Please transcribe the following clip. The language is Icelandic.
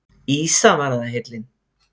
Ýsa var það heillin!